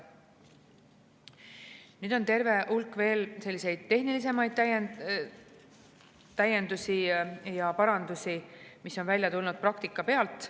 Nüüd, on terve hulk veel selliseid tehnilisemaid täiendusi ja parandusi, mille vajadus on välja tulnud praktika pealt.